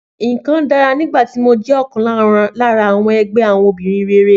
Nǹkan dára nígbà tí mo jẹ́ ọ̀kan lára àwọn ẹgbẹ́ àwọn obìnrin rere.